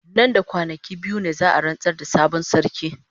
Nan da kwanaki biyu ne za a rantsar da sabon sarki.